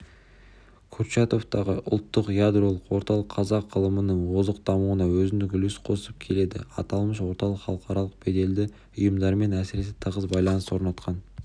курчатовтағы ұлттық ядролық орталық қазақ ғылымының озық дамуына өзіндік үлес қосып келеді аталмыш орталық халықаралық беделді ұйымдармен әсіресе тығыз байланыс орнатқан